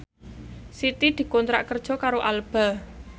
Siti dikontrak kerja karo Alba